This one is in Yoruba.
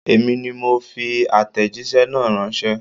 Èmi ni mo fi àtẹ̀jíṣẹ́ náà ránṣẹ́.